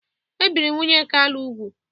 E biri nwunye Kalu úgwù.